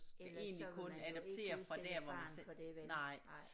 Ellers så ville man jo ikke udsætte et barn for det vel nej